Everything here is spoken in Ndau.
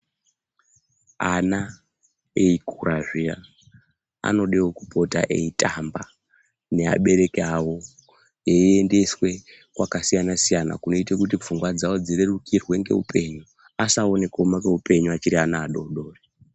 Ana eikura zviya anodewo kupota eitamba neabereki avo eiendeswe kwakasiyana-siyana kunoite kuti pfungwa dzavo dzirerukirwe ngeupenyu. Asaone kuoma kweupenyu achiri ana adoodori.